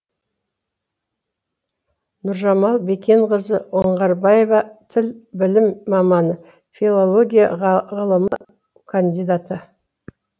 нұржамал бекенқызы оңғарбаева тіл білімі маманы филология ғылымы кандидаты